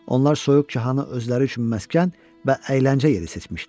Onlar soyuqçahanı özləri üçün məskən və əyləncə yeri seçmişdilər.